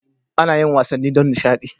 Ana yin wasanni don nishadi.